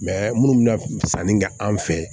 minnu bɛna sanni kɛ an fɛ yen